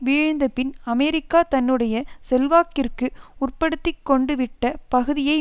வீழ்ந்தபின் America தன்னுடைய செல்வாக்கிற்கு உட்படுத்திக் கொண்டுவிட்ட பகுதியை